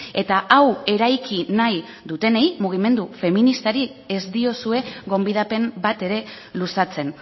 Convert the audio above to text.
eta hau eraiki nahi dutenei mugimendu feministari ez diozue gonbidapen bat ere luzatzen